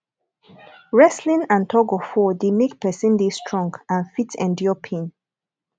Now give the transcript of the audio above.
wrestling and tugofwar de make persin de strong and fit endure pain